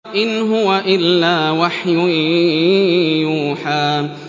إِنْ هُوَ إِلَّا وَحْيٌ يُوحَىٰ